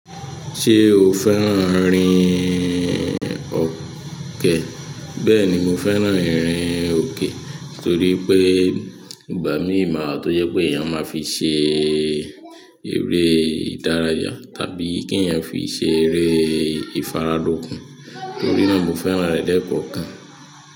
Ṣé o fẹ́ràn rin ọkẹ? Bẹ́ẹ̀ni, mo fẹ́ràn ìrìn òkè torí pé ìgbà mí máa tó jẹ́ pé èèyàn máa fi ṣe eré ìdárayá tàbí kí èèyàn fi ṣe eré ìfaradòkun. Torí náà mo fẹ́ràn rẹ̀ lẹ́ẹ́kọ̀ọ̀kan.